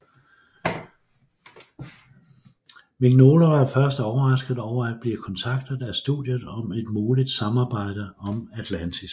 Mignola var først overrasket over at blive kontaktet af studiet om et muligt samarbejde omAtlantis